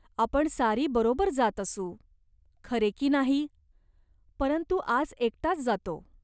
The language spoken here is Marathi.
आपण सारी बरोबर जात असू. खरे की नाही ?" "परंतु आज एकटाच जातो.